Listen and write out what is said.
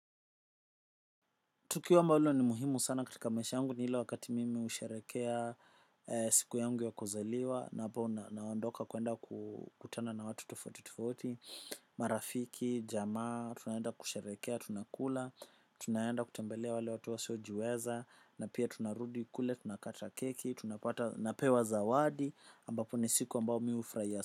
Tukiwa ambalo ni muhimu sana katika maisha yangu ni ile wakati mimi husherehekea siku yangu ya kuzaliwa na hapo naondoka kwenda kutana na watu tofauti tofauti, marafiki, jamaa, tunaenda kusherehekea, tunakula, tunaenda kutembelea wale watu wasiojiweza, na pia tunarudi kule, tunakata keki, tunapata napewa zawadi, ambapo ni siku ambayo mihufurahia.